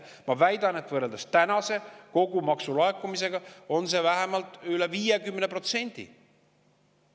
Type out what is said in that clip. Ma väidan, et võrreldes kogu tänavuse maksulaekumisega on see vähemalt üle 50%.